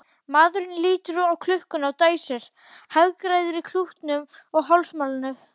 Maðurinn lítur á klukkuna og dæsir, hagræðir klútnum í hálsmálinu.